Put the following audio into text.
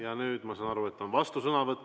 Ja nüüd ma saan aru, et on vastusõnavõtt.